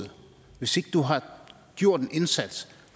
hvis ikke du har gjort en indsats